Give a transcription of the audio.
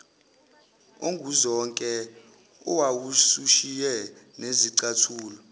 onguzonke owawusushiye nezicathulo